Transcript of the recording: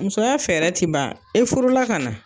Musoya fɛɛrɛ ti ban e furu la ka na.